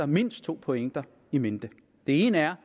mindst to pointer i mente den ene er